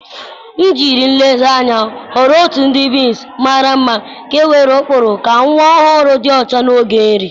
M jiri nlezianya họrọ otu ụdị bibs mara mma nke nwere ụkpụrụ ka nwa ọhụrụ dị ọcha n'oge nri.